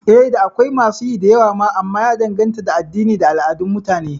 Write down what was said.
Eh, da akwai masu yi da yawa ma amma ya danganta da addini da al'adun Mutane